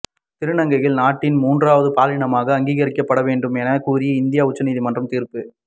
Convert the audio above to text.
திருநங்கைகள் நாட்டின் மூன்றாவது பாலினமாக அங்கீகரிக்கப்பட வேண்டும் என கூறி இந்திய உச்சநீதிமன்றம் தீர்ப்பு